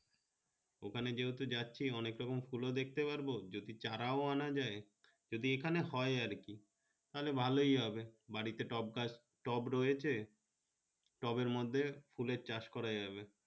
ওখানে যেহেতু যাচ্ছি অনেকরকম ফুল দেখতে পারবো জাতি চারও আনা যাই যদি এখানে হয় আর কি তাহলে ভালো হবে বাড়ি তে টব গাছ টব রয়েছে টবের মর্ধে ফুলের চাষ করা যাবে।